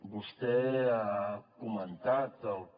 vostè ha comentat el que